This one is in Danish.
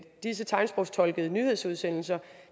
disse tegnsprogstolkede nyhedsudsendelser